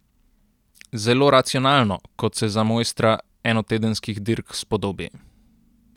Zelo racionalno, kot se za mojstra enotedenskih dirk spodobi.